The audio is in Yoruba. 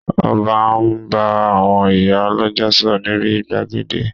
Ọba ń bá àwọn ìyá lọ́jà sọ̀rọ̀ níbi gbàgede